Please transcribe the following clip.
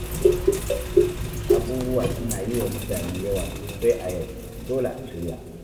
Abubuwa suna yi wa mutane yawa sosai a yau, dole a shirya.